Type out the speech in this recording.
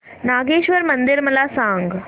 नागेश्वर मंदिर मला सांग